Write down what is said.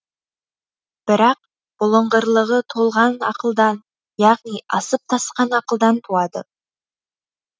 бірақ бұлыңғырлығы толған ақылдан яғни асып тасқан ақылдан туады